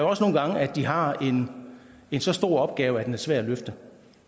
også nogle gange at de har en så stor opgave at den er svær at løfte